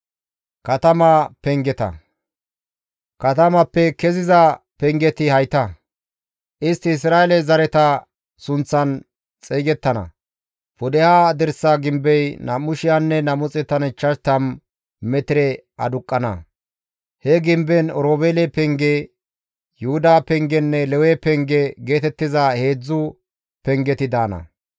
«Katamappe keziza pengeti hayta. Istti Isra7eele zareta sunththan xeygettana. Pudeha dirsa gimbey 2,250 metire aduqqana; he gimbezan Oroobeele penge, Yuhuda pengenne Lewe penge geetettiza heedzdzu pengeti daana.